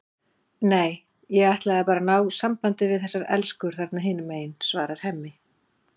Nei, ég ætlaði bara að ná sambandi við þessar elskur þarna hinum megin, svarar Hemmi.